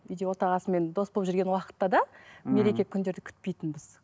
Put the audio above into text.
үйде отағасымен дос болып жүрген уақытта да мереке күндерді күтпейтінбіз